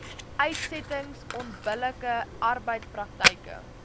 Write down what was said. uitsettings onbillike arbeidspraktyke